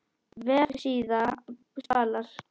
Vefsíða Spalar